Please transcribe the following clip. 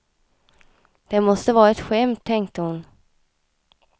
Det måste vara ett skämt, tänkte hon.